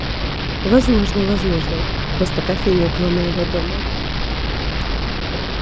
возможно возможно просто кофейни около моего дома